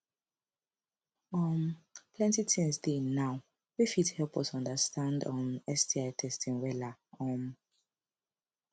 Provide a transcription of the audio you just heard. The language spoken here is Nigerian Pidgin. um plenty things dey now wey fit help us understand um sti testing wella um